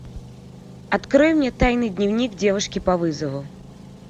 открой мне тайный дневник девушки по вызову